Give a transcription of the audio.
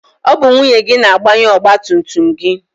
Ọ bụ nwunye gị na-agbanye ọgbatumtum gị.